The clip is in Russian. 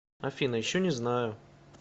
афина еще не знаю